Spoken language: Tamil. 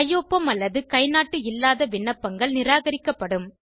கையொப்பம் அல்லது கைநாட்டு இல்லாத விண்ணப்பங்கள் நிராகரிக்கப்படும்